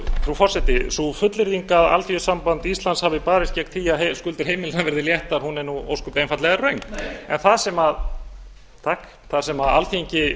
frú forseti sú fullyrðing að alþýðusamband íslands hafi barist gegn því að skuldir heimilanna hafi verið léttar er ósköp einfaldlega röng nei en það sem alþýðusambandið